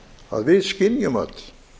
að við skynjum öll